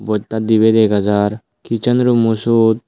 bojta dibey dega jar kichen rummo suot.